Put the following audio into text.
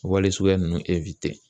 Wale suguya ninnu